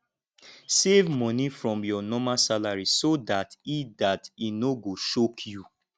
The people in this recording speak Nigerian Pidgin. save money from your normal salary so dat e dat e no go choke you